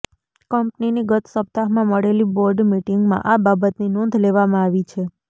કંપનીની ગત સપ્તાહમાં મળેલી બોર્ડ મિટિંગમાં આ બાબતની નોંધ લેવામાં આવી છે